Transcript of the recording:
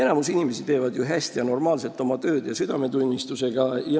Enamik inimesi teeb ju oma tööd hästi, normaalselt ja südametunnistusega.